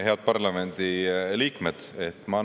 Head parlamendi liikmed!